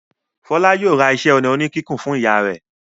Fọlá yóò ra iṣẹ́-ọnà oníkíkùn fún ìyá rẹ̀.